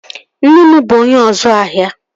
Nne m bụ onye ọzu ahia